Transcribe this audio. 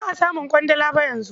Ba a samun ƙwandala ba yanzu.